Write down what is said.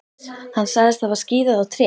Hann sagðist hafa skíðað á tré.